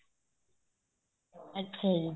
ਅੱਛਾ ਜੀ